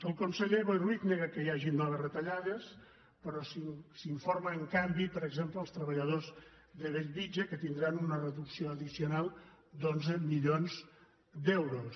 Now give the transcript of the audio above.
el conseller boi ruiz nega que hi hagin noves retallades però s’informa en canvi per exemple als treballadors de bellvitge que tindran una reducció addicional d’onze milions d’euros